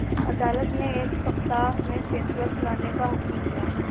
अदालत ने एक सप्ताह में फैसला सुनाने का हुक्म दिया